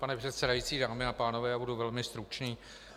Pane předsedající, dámy a pánové, já budu velmi stručný.